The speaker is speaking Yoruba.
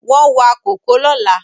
Wọ́n wa kòkó lọ́la